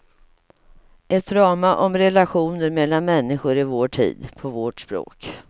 Ett drama om relationer mellan människor i vår tid, på vårt språk.